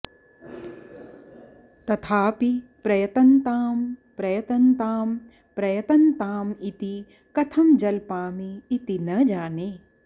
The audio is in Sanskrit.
तथापि प्रयतन्तां प्रयतन्तां प्रयतन्ताम् इति कथं जल्पामि इति न जाने